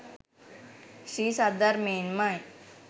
ශ්‍රී සද්ධර්මයෙන් ම යි.